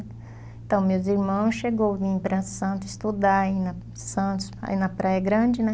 Então, meus irmãos chegou, vinham para Santos estudar, ir na Santos, aí Praia Grande, né?